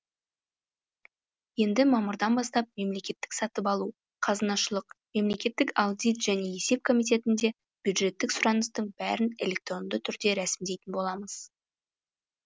енді мамырдан бастап мемлекеттік сатып алу қазынашылық мемлекеттік аудит және есеп комитетінде бюджеттік сұраныстың бәрін электронды түрде рәсімдейтін боламыз